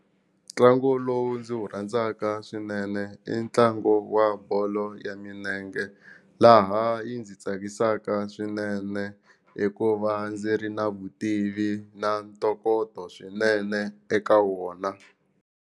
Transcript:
Ntlango lowu ndzi wu rhandzaka swinene i ntlangu wa bolo ya minenge laha yi ndzi tsakisaka swinene hikuva ndzi ri na vutivi na ntokoto swinene eka wona.